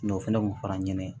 o fɛnɛ kun fara n ɲɛnɛ ye